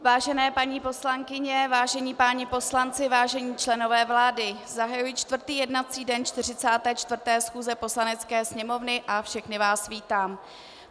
Vážené paní poslankyně, vážení páni poslanci, vážení členové vlády, zahajuji čtvrtý jednací den 44. schůze Poslanecké sněmovny a všechny vás vítám.